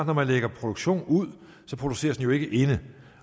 når man lægger produktion ud så produceres den jo ikke inde